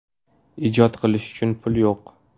Ijod qilish uchun pul yo‘q.